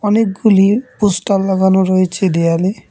অনেকগুলি পোস্টার লাগানো রয়েছে দেয়ালে।